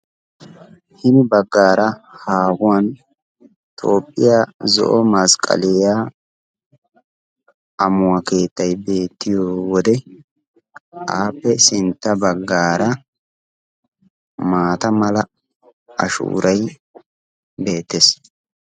hini baggaara haahuwan tophiya zo'o masqqaliya amuwa keettay beettiyo wode aappe sintta baggaara maata mala ashuuray beettes.